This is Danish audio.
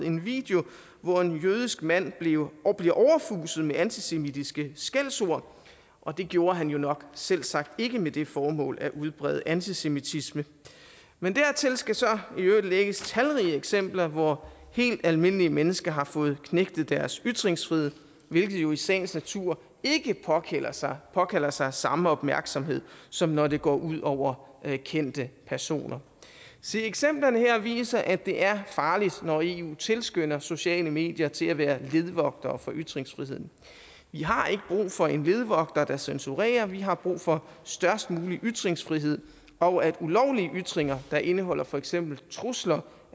en video hvor en jødisk mand bliver bliver overfuset med antisemitiske skældsord det gjorde han jo nok selvsagt ikke med det formål at udbrede antisemitisme men dertil skal så i øvrigt lægges talrige eksempler hvor helt almindelige mennesker har fået knægtet deres ytringsfrihed hvilket jo i sagens natur ikke påkalder sig påkalder sig samme opmærksomhed som når det går ud over kendte personer se eksemplerne her viser at det er farligt når eu tilskynder sociale medier til at være ledvogtere for ytringsfriheden vi har ikke brug for en ledvogter der censurerer vi har brug for størst mulig ytringsfrihed og at ulovlige ytringer der indeholder for eksempel trusler